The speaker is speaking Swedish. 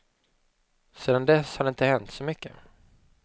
Sedan dess har det inte hänt så mycket.